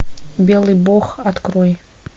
белый бог открой